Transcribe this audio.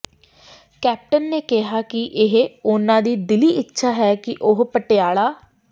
captain ਨੇ ਕਿਹਾ ਕਿ ਇਹ ਉਨ੍ਹਾਂ ਦੀ ਦਿਲੀ ਇੱਛਾ ਹੈ ਕਿ ਉਹ ਪਟਿਆਲਾ